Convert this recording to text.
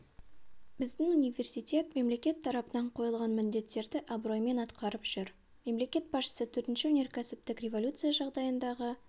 біздің университет мемлекет тарапынан қойылған міндеттерді абыроймен атқарып жүр мемлекет басшысы төртінші өнеркәсіптік революция жағдайындағы